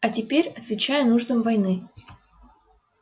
а теперь отвечая нуждам войны